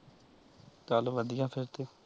ਚਲ ਵਧੀਆ ਫਿਰ ਤੇ।